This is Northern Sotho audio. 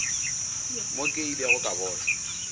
mo ke ilego ka bona